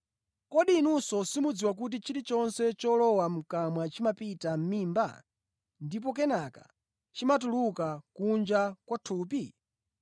Kodi inu simudziwa kuti chilichonse cholowa mʼkamwa chimapita mʼmimba ndipo kenaka chimatuluka kunja kwa thupi?